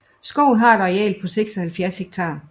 Skoven har et areal på 76 hektar